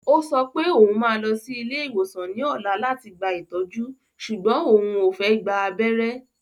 Ó sọ pé òun máa lọ sí ilé ìwòsàn ní ọ̀la láti gba ìtọ́jú sùgbọ́n òun ò fẹ́ gba abẹ́rẹ́